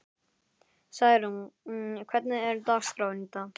Særún, hvernig er dagskráin í dag?